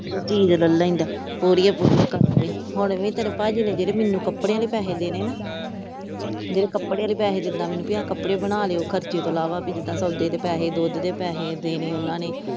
ਚੀਜ਼ ਲਹਿ ਲੈਂਦਾ ਪੂਰੀਆਂ ਪੂਰੀਆਂ ਕਰਕੇ ਹੁਣ ਵੀ ਤੇਰੇ ਭਾਜੀ ਨੇ ਮੈਨੂੰ ਕੱਪੜਿਆਂ ਦੇ ਪੈਸੇ ਦੇਣੇ ਹਣਾ, ਜਿਹੜੇ ਕੱਪੜਿਆਂ ਦੇ ਪੈਸੇ ਦਿੰਦਾ ਮੈਨੂੰ ਆ ਕੱਪੜੇ ਬਣਾ ਲਿਓ ਖਰਚੇ ਤੋਂ ਇਲਾਵਾ ਵੀ ਜਿੱਦਾ ਸੌਦੇ ਦੇ ਪੈਸੇ ਦੁੱਧ ਦੇ ਪੈਸੇ ਦੇਣੇ ਉਹਨਾਂ ਨੇ ।